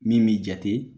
Min b'i jate